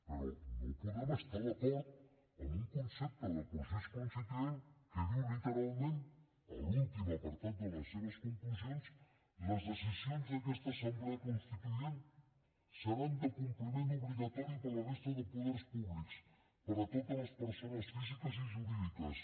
però no podem estar d’acord amb un concepte de procés constituent que diu literalment a l’últim apartat de les seves conclusions les decisions d’aquesta assemblea constituent seran de compliment obligatori per a la resta de poders públics per a totes les persones físiques i jurídiques